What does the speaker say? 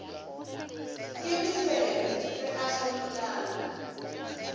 ke mesebe re a hlomolana